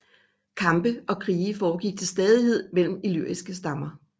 Kampe og krige foregik til stadighed mellem illyriske stammer